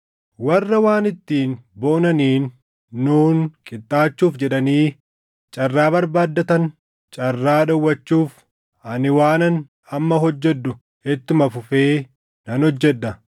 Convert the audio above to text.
Warra waan ittiin boonaniin nuun qixxaachuuf jedhanii carraa barbaaddatan carraa dhowwachuuf ani waanan amma hojjedhu ittuma fufee nan hojjedha.